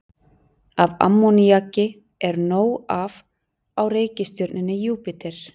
Af ammoníaki er nóg af á reikistjörnunni Júpíter.